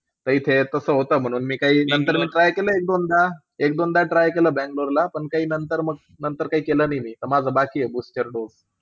आमच्या इथे काय आहे. नंतर मी try केलं. एक दोनदा try केलं बँगलोर ला पण नंतर काही केलं नाही रे. आता बाकी आहे माझा booster dose.